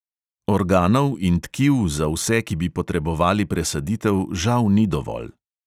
Organov in tkiv za vse, ki bi potrebovali presaditev, žal ni dovolj.